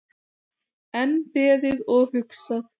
Enn beðið og hugsað